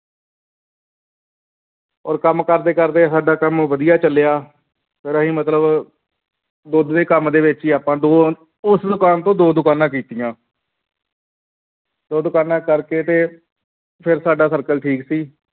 ਔਰ ਕੰਮ ਕਰਦੇੇ ਕਰਦੇ ਸਾਡਾ ਕੰਮ ਵਧੀਆ ਚੱਲਿਆ ਫਿਰ ਅਸੀਂ ਮਤਲਬ ਦੁੱਧ ਦੇ ਕੰਮ ਦੇ ਵਿੱਚ ਹੀ ਆਪਾਂ ਦੋ ਉਸ ਦੁਕਾਨ ਤੋਂ ਦੋ ਦੁਕਾਨਾਂ ਕੀਤੀਆਂ ਦੋ ਦੁਕਾਨਾਂ ਕਰਕੇ ਤੇ ਫਿਰ ਸਾਡਾ circle ਠੀਕ ਸੀ